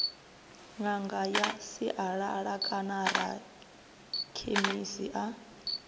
ṅanga ya sialala kanarakhemisi a